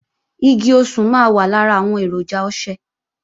Igi osùn máa wà lára àwọn èròjà ọṣẹ